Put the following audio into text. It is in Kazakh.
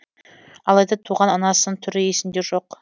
алайда туған анасының түрі есінде жоқ